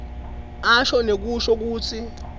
asho nekusho kutsi